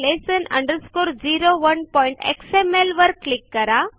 basic lesson 01xmlवर click करा